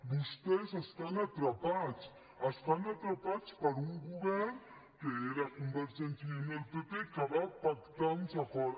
vostès estan atrapats estan atrapats per un govern que eren convergència i unió i el pp que va pactar un acord